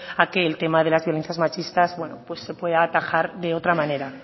a que el tema de las violencias machistas se pueda atajar de otra manera